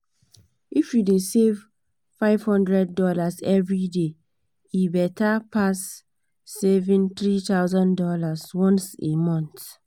if you dey save five hundred dollars every day e better better pass saving three thousand dollars once a month.